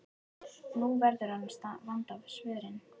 Nú verður hann að vanda svörin.